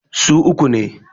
su uku ne